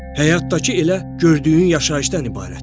Həyatdakı elə gördüyün yaşayışdan ibarətdir.